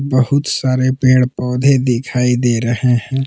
बहुत सारे पेड़ पौधे दिखाई दे रहे हैं।